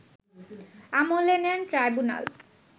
আমলে নেন ট্রাইব্যুনাল